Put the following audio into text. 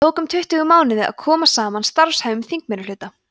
þá tók um tuttugu mánuði að koma saman starfhæfum þingmeirihluta